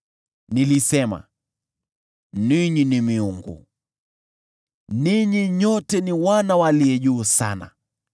“Nilisema, ‘Ninyi ni “miungu”; ninyi nyote ni wana wa Aliye Juu Sana.’